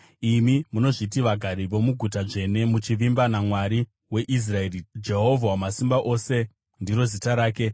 imi munozviti vagari vomuguta dzvene, muchivimba naMwari weIsraeri; Jehovha Wamasimba Ose ndiro zita rake: